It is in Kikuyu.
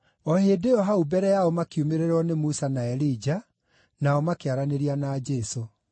O hĩndĩ ĩyo hau mbere yao makiumĩrĩrwo nĩ Musa na Elija makĩaranĩria na Jesũ.